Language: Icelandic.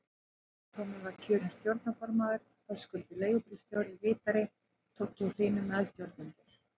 Tommi var kjörinn stjórnarformaður, Höskuldur leigubílstjóri ritari, Toggi og Hlynur meðstjórnendur.